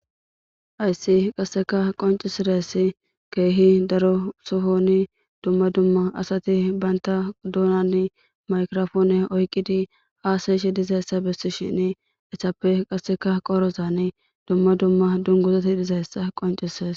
Ayssi qasseka qoncisiress keehi daro sofoni dumma dumma asati baynta duunani maykrofoone oyqidi aasayshi dizayssa bessi shin esappe qasseka qorozane dumma dumma dunguzati dizayssa qoncises